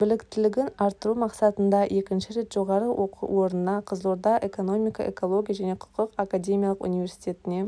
біліктілігін арттыру мақсатында екінші рет жоғары оқу орнына қызылорда экономика экология және құқық академиялық университетіне